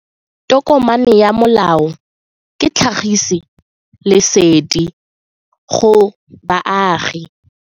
Tokomane ya molao ke tlhagisi lesedi go baagi.